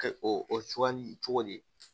Kɛ o sugandi cogo di